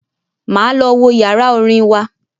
Máa lọ wo yàrá orin wa.